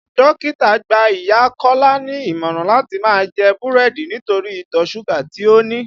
Dókítà gbá ìyá Kọ́lá ní ìmọ̀ràn láti máa jẹ búrẹ́dì nítorí ìtọ̀ súgà tí ó ní